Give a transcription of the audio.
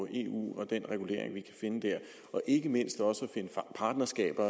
eu og den regulering vi kan finde der og ikke mindst også at finde partnerskaber